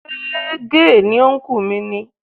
Ṣé gay ni ọnkú mi ni?